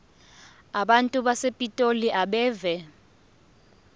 abantu basepitoli abeve